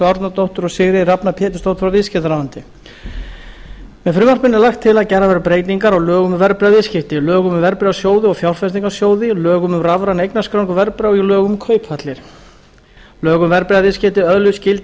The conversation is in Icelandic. árnadóttur og sigríði rafnar pétursdóttur frá viðskiptaráðuneyti með frumvarpinu er lagt til að gerðar verði breytingar á lögum um verðbréfaviðskipti lögum um verðbréfasjóði og fjárfestingarsjóði lögum um rafræna eignarskráningu verðbréfa og lögum um kauphallir lög um verðbréfaviðskipti öðluðust gildi